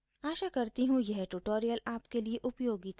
आशा करती हूँ यह ट्यूटोरियल आपके लिए उपयोगी था